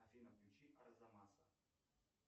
афина включи арзамаса